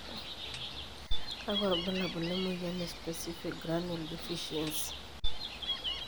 kakua irbulabol le moyian e specific granule deficiency?